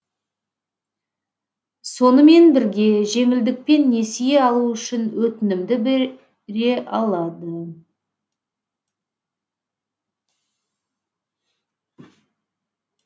сонымен бірге жеңілдікпен несие алу үшін өтінімді де алады